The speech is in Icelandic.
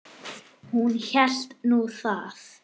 Hún hélt nú það.